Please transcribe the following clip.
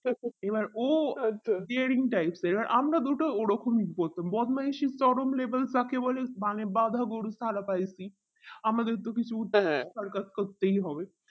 এবার ও dering types এবার আমরা দুটো ওই রকম যখন বদমাইশি চরম level কাকে বলে মানে বাধা গরু ছাড়া পাইসি আমাদের তো কিছু সার্কাস করতেই হবে